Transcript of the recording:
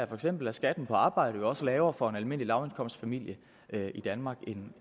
for eksempel er skatten på arbejde jo også lavere for en almindelig lavindkomstfamilie i danmark end